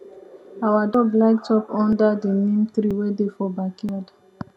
our dog like chop under di neem tree wey dey for backyard